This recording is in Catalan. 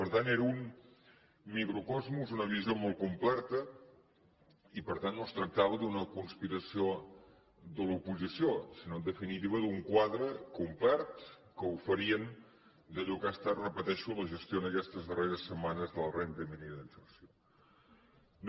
per tant era un microcosmos una visió molt completa i per tant no es tractava d’una conspiració de l’oposició sinó en definitiva d’un quadre complet que oferien d’allò que ha estat ho repeteixo la gestió aquestes darreres setmanes de la renda mínima d’inserció